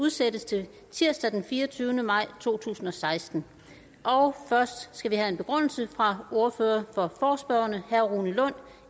udsættes til tirsdag den fireogtyvende maj to tusind og seksten først skal vi have en begrundelse fra ordføreren for forespørgerne herre rune lund